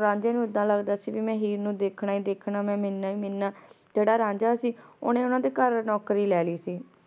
ਰਾਂਝੇ ਨੂ ਏਦਾਂ ਲਗਦਾ ਸੀ ਮੈਂ ਹੀਰ ਨੂ ਦੇਖਣਾ ਮਿਲਣਾ ਈ ਮਿਲਣਾ ਜੇਰਾ ਰਾਂਝਾ ਸੀ ਓਨੇ ਓਨਾਂ ਦੇ ਘਰ ਨੌਕਰੀ ਲੇ ਲੈ ਸੀ